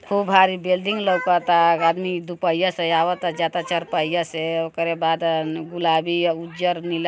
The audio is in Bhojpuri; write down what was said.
खूब भारी बेल्डिंग वेल्डिंग लउकता। गादमी दू पहिया से आवता जाता चरपहिया से ओकरे बाद अ-गुलाबी उजर नीला।